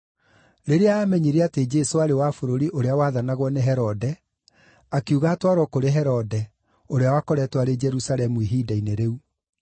Rĩrĩa aamenyire atĩ Jesũ aarĩ wa bũrũri ũrĩa wathanagwo nĩ Herode, akiuga atwarwo kũrĩ Herode, ũrĩa wakoretwo arĩ Jerusalemu ihinda-inĩ rĩu.